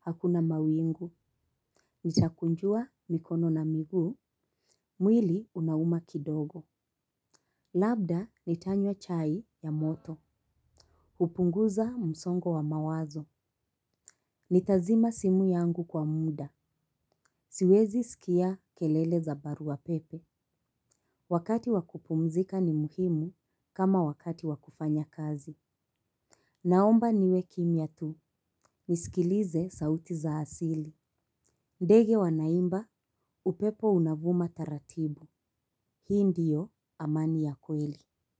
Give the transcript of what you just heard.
hakuna mawingu. Nitakunjua mikono na miguu, mwili unauma kidogo. Labda nitanywa chai ya moto. Hupunguza msongo wa mawazo. Nitazima simu yangu kwa muda. Siwezi sikia kelele za barua pepe. Wakati wakupumzika ni muhimu kama wakati wakufanya kazi. Naomba niwe kimya tu. Nisikilize sauti za asili. Ndege wanaimba upepo unavuma taratibu. Hii ndiyo amani ya kweli.